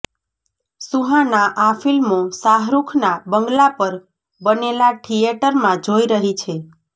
સુહાના આ ફિલ્મો શાહરૂખના બંગલા પર બનેલા થિયેટરમાં જોઈ રહી છે